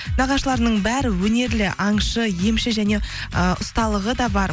нағашыларымның бәрі өнерлі аңшы емші және э ұсталығы да бар